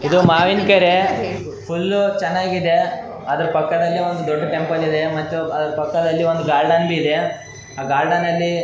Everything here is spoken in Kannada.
ಇದು ಮಾವಿನ್ಕೆರೆ ಫುಲ್ಲ್ ಚೆನ್ನಾಗಿದೆ ಅದ್ರ ಪಕ್ಕದಲ್ಲಿ ಒಂದ್ ದೊಡ್ಡ ಟೆಂಪಲ್ ಇದೆ ಮತ್ತೆ ಅದ್ರ ಪಕ್ಕದಲ್ಲಿ ಒಂದು ಗಾರ್ಡೆನ್ ಇದೆ ಆ ಗಾರ್ಡೆನ್ ನಲ್ಲಿ --